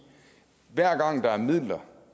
hver gang der er midler